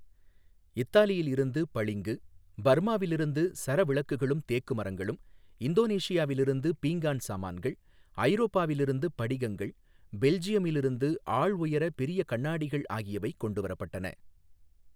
இத்தாலியில் இருந்து பளிங்கு, பர்மாவில் இருந்து சரவிளக்குகளும் தேக்கு மரங்களும், இந்தோனேசியாவில் இருந்து பீங்கான் சாமான்கள், ஐரோப்பாவில் இருந்து படிகங்கள், பெல்ஜியமில் இருந்து ஆள் உயர பெரிய கண்ணாடிகள் ஆகியவை கொண்டு வரப்பட்டன.